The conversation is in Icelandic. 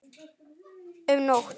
um nótt.